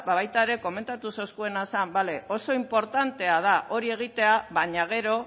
ba baita ere komentatu zeuskuena zan bale oso inportantea da hori egitea baina gero